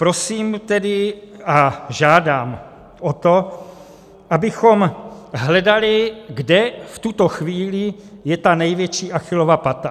Prosím tedy a žádám o to, abychom hledali, kde v tuto chvíli je ta největší Achillova pata.